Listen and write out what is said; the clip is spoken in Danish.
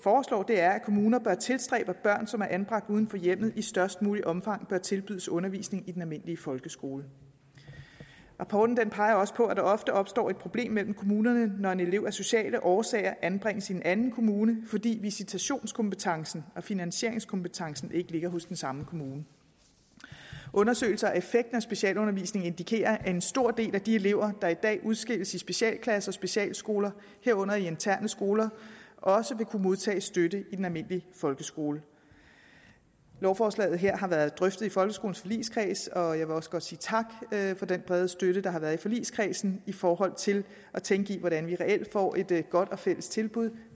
er at kommuner bør tilstræbe at børn som er anbragt uden for hjemmet i størst muligt omfang tilbydes undervisning i den almindelige folkeskole rapporten peger også på at der ofte opstår et problem mellem kommunerne når en elev af sociale årsager anbringes i en anden kommune fordi visitationskompetencen og finansieringskompetencen ikke ligger hos den samme kommune undersøgelser af effekten af specialundervisning indikerer at en stor del af de elever der i dag udskilles i specialklasser og specialskoler herunder interne skoler også vil kunne modtage støtte i den almindelige folkeskole lovforslaget her har været drøftet i folkeskolens forligskreds og jeg vil også godt sige tak for den brede støtte der har været i forligskredsen i forhold til at tænke i hvordan vi reelt får et godt og fælles tilbud